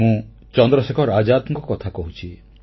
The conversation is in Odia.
ମୁଁ ଚନ୍ଦ୍ରଶେଖର ଆଜାଦଙ୍କ କଥା କହୁଛି